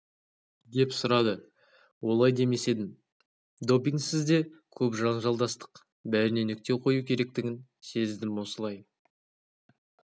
деп сұрады олай демес едім допингсіз де көп жанжалдастық бәріне нүкте қою керектігін сездім осылай